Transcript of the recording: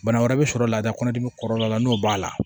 Bana wɛrɛ bɛ sɔrɔ la kɔnɔdimi kɔrɔla la n'o b'a la